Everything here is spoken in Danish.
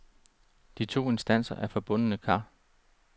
De to instanser er forbundne kar.